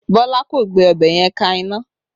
Bọlá kò gbé ọbẹ̀ yẹn ka iná